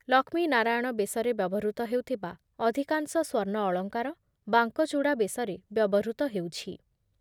ଲକ୍ଷ୍ମୀ ନାରାୟଣ ବେଶରେ ବ୍ୟବହୃତ ହେଉଥିବା ଅଧିକାଂଶ ସ୍ୱର୍ଣ୍ଣ ଅଳଙ୍କାର ବାଙ୍କଚୂଡା ବେଶରେ ବ୍ୟବହୃତ ହେଉଛି।